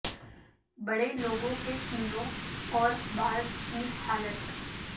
بڑے لوگوں کے کینو ں اور بعض کی حالت